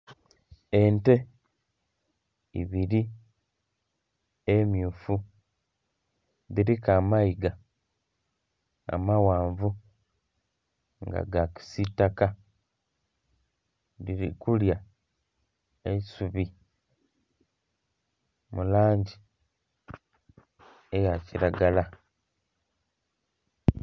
Ente ibiri emyufu dhiriku amayiga amaghanvu nga ga kisitaka dhiri kulya eisubi mu langi eya kilagala.